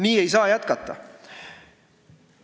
Nii ei saa jätkata!